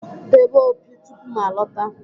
Debe opi tupu m alọta!